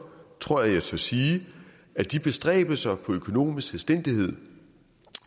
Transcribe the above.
tror jeg jeg tør sige at de bestræbelser på økonomisk selvstændighed